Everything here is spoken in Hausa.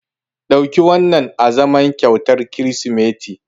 Ɗauki wannan azaman kyautar Kirsimeti.